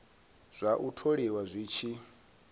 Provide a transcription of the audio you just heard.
zwa u tholiwa zwi tshi